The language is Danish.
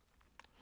DR1